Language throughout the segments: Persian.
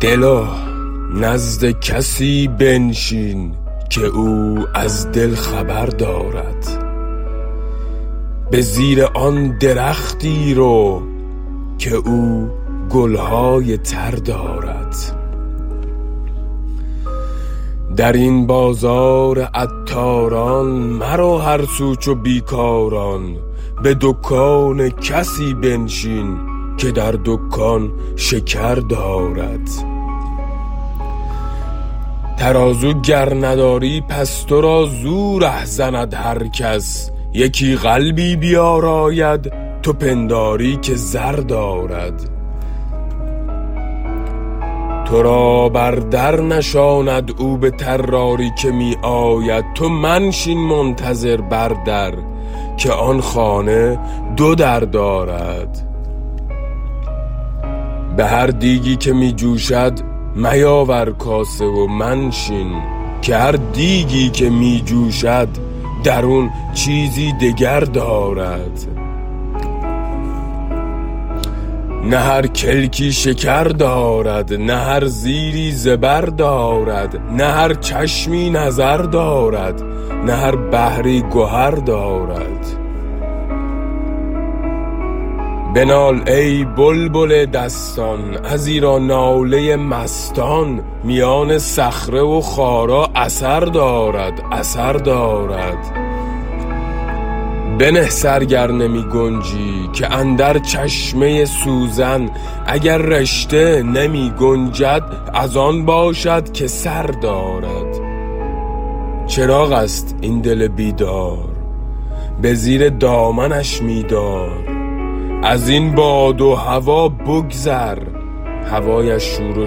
دلا نزد کسی بنشین که او از دل خبر دارد به زیر آن درختی رو که او گل های تر دارد در این بازار عطاران مرو هر سو چو بی کاران به دکان کسی بنشین که در دکان شکر دارد ترازو گر نداری پس تو را زو ره زند هر کس یکی قلبی بیاراید تو پنداری که زر دارد تو را بر در نشاند او به طراری که می آید تو منشین منتظر بر در که آن خانه دو در دارد به هر دیگی که می جوشد میاور کاسه و منشین که هر دیگی که می جوشد درون چیزی دگر دارد نه هر کلکی شکر دارد نه هر زیری زبر دارد نه هر چشمی نظر دارد نه هر بحری گهر دارد بنال ای بلبل دستان ازیرا ناله مستان میان صخره و خارا اثر دارد اثر دارد بنه سر گر نمی گنجی که اندر چشمه سوزن اگر رشته نمی گنجد از آن باشد که سر دارد چراغ است این دل بیدار به زیر دامنش می دار از این باد و هوا بگذر هوایش شور و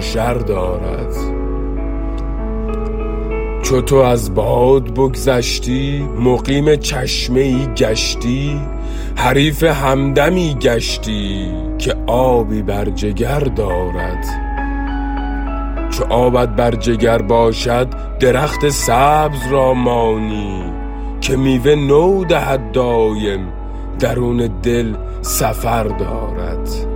شر دارد چو تو از باد بگذشتی مقیم چشمه ای گشتی حریف همدمی گشتی که آبی بر جگر دارد چو آبت بر جگر باشد درخت سبز را مانی که میوه نو دهد دایم درون دل سفر دارد